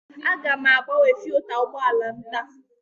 Aga m agbanwe filta ụgbọ ala m taa.